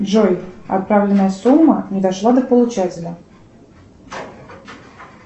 джой отправленная сумма не дошла до получателя